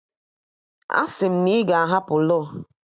Asị m na ị ga-ahapụ law!